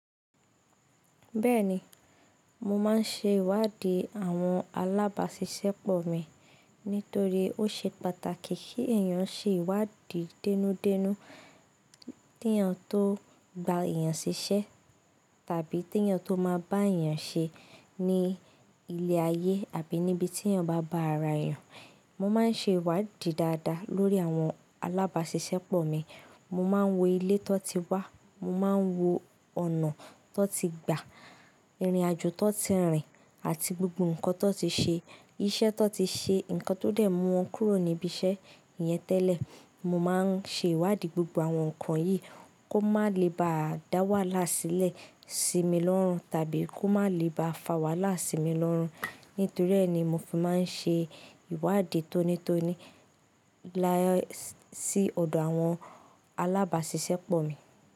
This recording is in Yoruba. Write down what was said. Bẹ́ẹ̀ni, mo máa ń ṣe ìwádìí àwọn alábàáṣiṣẹ́pọ̀ mi nítorí ó ṣe pàtàkì kí èèyàn ṣe ìwádìí dénú dénú kí èèyàn tó gba èèyàn ṣiṣẹ́ tàbí kí èèyàn tó máa bá èèyàn ṣe ní ilé ayé àbí níbi tí èèyàn bá bá ara èèyàn. Mo máa ń ṣe ìwádìí dáadáa lórí àwọn alábàáṣiṣẹ́pọ̀ mi. Mo máa ń wo ilé tó ti wá, mo máa ń wo ọ̀nà tó ti gbà, ìrìnàjò tó ti rìn àti gbogbo nǹkan tó ti ṣe, iṣẹ́ tó ti ṣe, nǹkan tó dẹ̀ mú wọn kúrò níbi iṣẹ́ yẹn tẹ́lẹ̀. Mo máa ń ṣe ìwádìí gbogbo àwọn nǹkan yìí kó má lè bá dá wàhálà sílẹ̀ sí mi lọ́rùn tàbí kó má lè bá fa wàhálà sí mi lọ́rùn. Nítorí ẹ́ ni mo fi máa ń ṣe ìwádìí tónítóní láé sí ọ̀dọ̀ àwọn alábàáṣiṣẹ́pọ̀ mi.